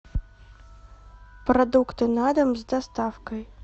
продукты на дом с доставкой